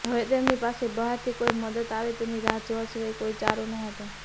હવે તેમની પાસે બહારથી કોઈ મદદ આવે તેની રાહ જોવા સિવાય કોઈ આરો ન હતો